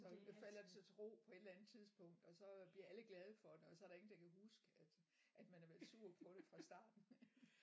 Så falder det til ro på et eller andet tidspunkt og så bliver alle glade for det og så er der ingen der kan huske at at man har været sur på det fra starten